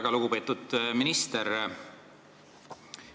Väga lugupeetud minister!